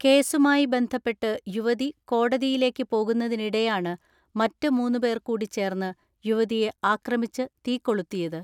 കേസുമായി ബന്ധപ്പെട്ട് യുവതി കോടതിയിലേക്ക് പോകുന്നതി നിടെയാണ് മറ്റ് മൂന്നുപേർകൂടി ചേർന്ന് യുവതിയെ ആക്രമിച്ച് തീ കൊളുത്തിയത്.